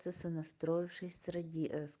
с и настроившись среди с